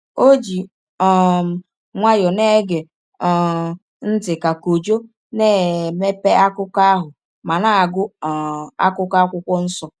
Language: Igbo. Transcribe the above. O ji um nwayọọ na-ege um ntị ka Kojo na-emepe akụkọ ahụ ma na-agụ um akụkụ Akwụkwọ Nsọ.